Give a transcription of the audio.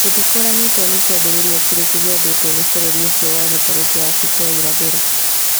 Gũtikũranĩtwo nĩ kĩambĩrĩria kĩrĩkũ gĩathĩtwo nĩ bũrũri ũcio wa gĩtaro kĩa Afrika ya irathĩro